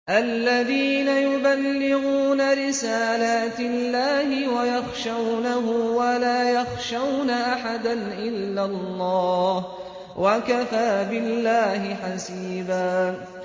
الَّذِينَ يُبَلِّغُونَ رِسَالَاتِ اللَّهِ وَيَخْشَوْنَهُ وَلَا يَخْشَوْنَ أَحَدًا إِلَّا اللَّهَ ۗ وَكَفَىٰ بِاللَّهِ حَسِيبًا